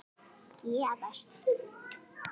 Gefast upp!